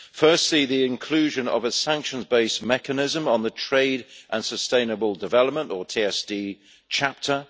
Firstly, the inclusion of a sanctions based mechanism on the trade and sustainable development or TSD chapter.